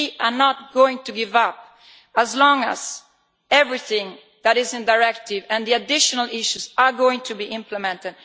We are not going to give up as long as everything that is in the Directive and the additional issues are going to be implemented.